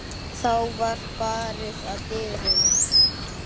Þá var barið að dyrum.